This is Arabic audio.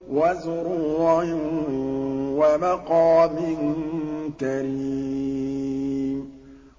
وَزُرُوعٍ وَمَقَامٍ كَرِيمٍ